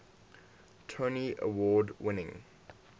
tony award winning